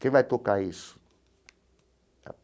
Quem vai tocar isso?